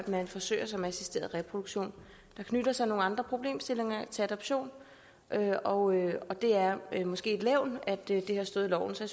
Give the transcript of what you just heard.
man forsøger sig med assisteret reproduktion der knytter sig nogle andre problemstillinger til adoption og og det er måske et levn at det har stået i loven så